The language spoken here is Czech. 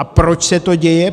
A proč se to děje?